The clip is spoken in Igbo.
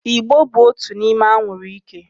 Ị̀gbò bụ otu n'ime anwụrụ ike.